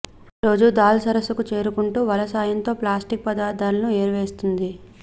రోజూ దాల్ సరస్సుకు చేరుకుంటూ వల సాయంతో ప్లాస్టిక్ వ్యర్థాలను ఏరివేస్తుంది